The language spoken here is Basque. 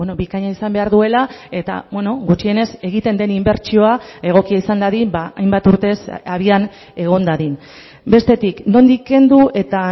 bikaina izan behar duela eta gutxienez egiten den inbertsioa egokia izan dadin hainbat urtez abian egon dadin bestetik nondik kendu eta